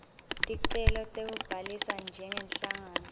ticelo tekubhalisa njengenhlangano